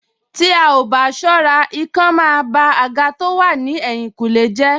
Tí a ò bá ṣọ́ra, ikán máa ba àga tó wà ní ẹ̀tìnkùlé jẹ́